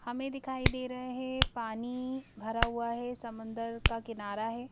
हमें दिखाई दे रहे हैं पानी भरा हुआ है समंदर का किनारा है।